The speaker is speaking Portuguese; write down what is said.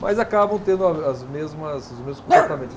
Mas acabam tendo a, as mesmas, os mesmos comportamentos.